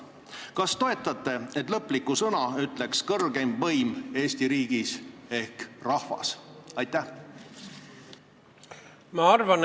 Kas toetate, et lõpliku sõna ütleks kõrgeim võim Eesti riigis ehk rahvas?